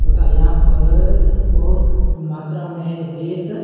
तथा यहां पर बहोत मात्रा में रेत--